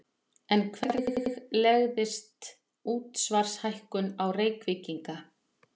En hvernig legðist útsvarshækkun á Reykvíkinga?